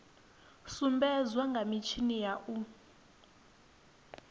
sumbedzwa kha mitshini ya u